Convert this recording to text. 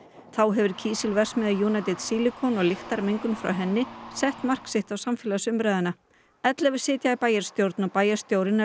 þá hefur kísilverksmiðja United Silicon og lyktarmengun frá henni sett mark sitt á samfélagsumræðuna ellefu sitja í bæjarstjórn og bæjarstjórinn er